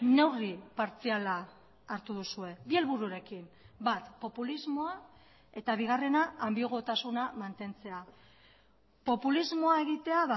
neurri partziala hartu duzue bi helbururekin bat populismoa eta bigarrena anbiguotasuna mantentzea populismoa egitea